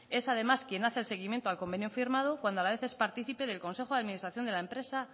es además quien hace el seguimiento al convenio firmado cuando a la vez es partícipe del consejo de administración de la empresa